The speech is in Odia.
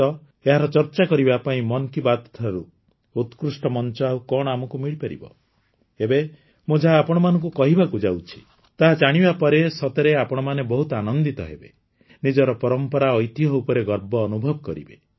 ତ ଏହାର ଚର୍ଚ୍ଚା କରିବା ପାଇଁ ମନ୍ କି ବାତ୍ଠାରୁ ଉତ୍କୃଷ୍ଟ ମଂଚ ଆଉ କଣ ଆମକୁ ମିଳିପାରିବ ଏବେ ମୁଁ ଯାହା ଆପଣଙ୍କୁ କହିବାକୁ ଯାଉଛି ତାହା ଜାଣିବା ପରେ ସତରେ ଆପଣମାନେ ବହୁତ ଆନନ୍ଦିତ ହେବେ ନିଜର ପରମ୍ପରା ଐତିହ୍ୟ ଉପରେ ଗର୍ବ ଅନୁଭବ କରିବେ